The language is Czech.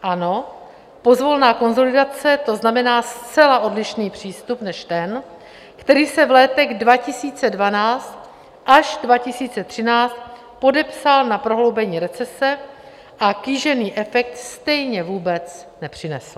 Ano, pozvolná konsolidace, to znamená zcela odlišný přístup než ten, který se v letech 2012 až 2013 podepsal na prohloubení recese a kýžený efekt stejně vůbec nepřinesl.